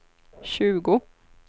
tjugo